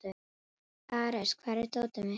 Ares, hvar er dótið mitt?